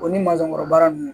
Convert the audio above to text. O ni masɔn kɔrɔ baara ninnu